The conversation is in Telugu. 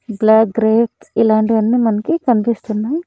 బ్లాక్ గ్రేప్స్ ఇలాంటివన్నీ మనకి కన్పిస్తున్నాయ్.